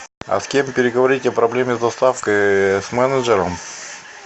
а с кем переговорить о проблеме с доставкой с менеджером